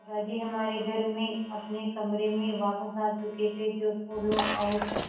दादाजी हमारे घर में अपने कमरे में वापस आ चुके थे जो फूलों और